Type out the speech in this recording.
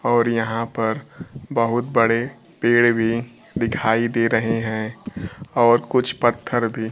और यहां पर बहुत बड़े पेड़ भी दिखाई दे रहे हैं और कुछ पत्थर भी।